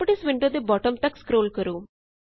properties window ਦੇ bottom ਤਕ scroll ਕਰੋ